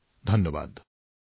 অশেষ অশেষ ধন্যবাদ